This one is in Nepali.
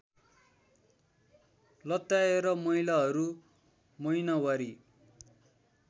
लत्याएर महिलाहरू महिनावारी